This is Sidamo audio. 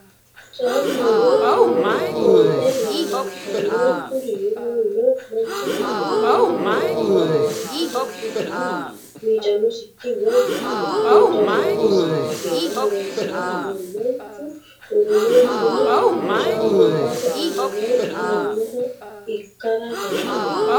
Caamaho woyi kolikole yaamantanna kuriuno manchi beeti meyyahuno labahunno lekkasi gufichu miicanosikki woyi godaasanosikki gede horonsiranoho, manchu uurinohu koni caa'mubate ana woyi hiranoha ikkara dandanno